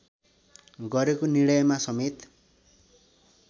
गरेको निर्णयमा समेत